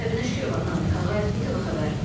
Səbinə Şükürova, Namiq Ağayev, İTV.